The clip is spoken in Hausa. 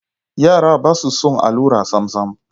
Yara ba su son allura samsam.